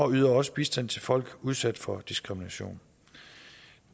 yder også bistand til folk udsat for diskrimination